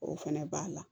O fɛnɛ b'a la